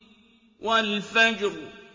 وَالْفَجْرِ